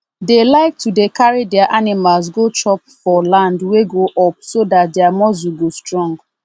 dey like to dey carry their animals go chop for land wey go up so dat their muscle go strong